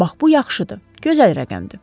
Bax bu yaxşıdır, gözəl rəqəmdir.